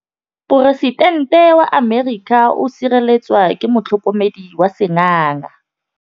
Poresitêntê wa Amerika o sireletswa ke motlhokomedi wa sengaga.